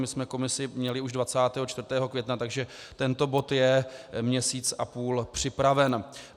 My jsme komisi měli už 24. května, takže tento bod je měsíc a půl připraven.